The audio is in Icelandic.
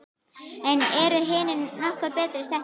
En eru hinir nokkru betur settir?